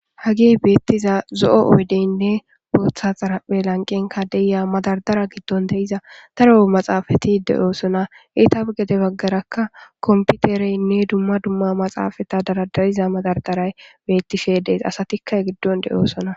Hagey beetiza zo'o oydeynne bootha xaraphe lanqenkka de'iya madardara giddon de'iza daro maxaafeti de'osonna; eetappe gede bagaarakka kompitereynne dumma dumma maxaafeta daradariza madardaray beetishe de'es; asatikka he giddon de'osonna.